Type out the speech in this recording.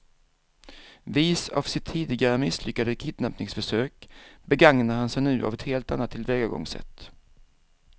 Vis av sitt tidigare misslyckade kidnappningsförsök begagnar han sig nu av ett helt annat tillvägagångssätt.